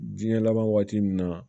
Jiɲɛ laban waati min na